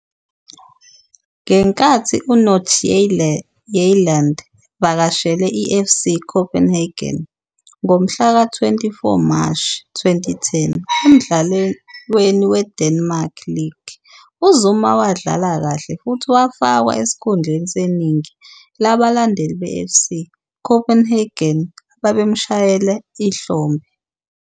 Ngenkathi uNordsjaelland evakashele iFC Copenhagen ngomhlaka-24 Mashi 2010 emdlalweni weDenmark League, uZuma wadlala kahle futhi wafakwa esikhundleni seningi labalandeli beFC Copenhagen ababemshayela ihlombe.